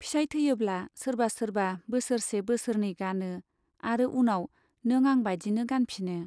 फिसाइ थैयोब्ला सोरबा सोरबा बोसोरसे बोसोरनै गानो आरो उनाव नों आं बादिनो गानफिनो।